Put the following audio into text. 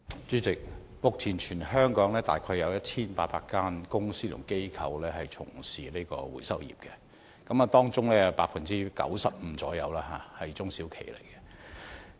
主席，目前全港約有1800間公司和機構從事回收業，當中約有 95% 是中小企。